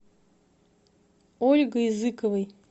ольгой зыковой